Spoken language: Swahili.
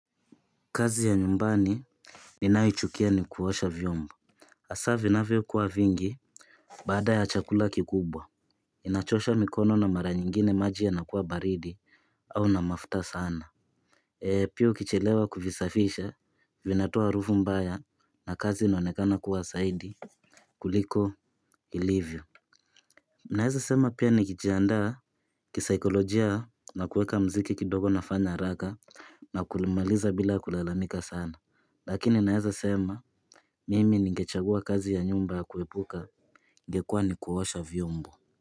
Kazi ya nyumbani ninayoichukia ni kuosha vyomba hasa vinavyo kuwa vingi baada ya chakula kikubwa. Inachosha mikono na mara nyingine maji yanakuwa baridi au na mafuta sana pia ukichelewa kuvisafisha vinatoa harufu mbaya na kazi inonekana kuwa zaidi kuliko ilivyo naweza sema pia nikijiandaa kisaikolojia na kuweka mziki kidogo nafanya haraka na kuimaliza bila kulalamika sana lakini naweza sema mimi nigechagua kazi ya nyumba ya kuepuka ingekua ni kuosha vyombo.